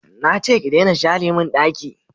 Na ce ki share mun daki